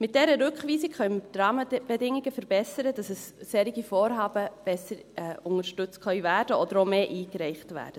Mit dieser Rückweisung können wir die Rahmenbedingungen verbessern, damit solche Vorhaben besser unterstützt werden können oder auch mehr eingereicht werden.